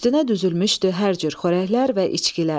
Üstünə düzülmüşdü hər cür xörəklər və içkilər.